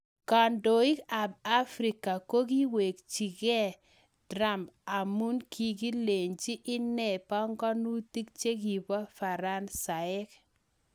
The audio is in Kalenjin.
Kandoik ab afrika ko koiwekchi Kee trump amu kiingelechi inee panganutik che kibo faransaek.